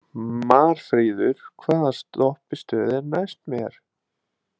Marfríður, hvaða stoppistöð er næst mér?